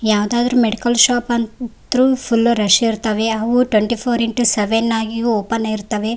ಯಾವುದಾದ್ರು medical shop ಅಂತ್ರು full rush ಇರ್ತವೆ ಅವು ಟ್ವೆಂಟಿ ಫೋರ್ ಇಂಟು ಸೆವೆನ್ ಆಗಿಯೂ ಓಪನ್ ಇರುತ್ತವೆ.